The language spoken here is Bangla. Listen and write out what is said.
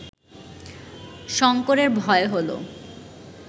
শঙ্করের ভয় হল